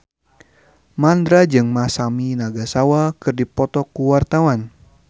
Mandra jeung Masami Nagasawa keur dipoto ku wartawan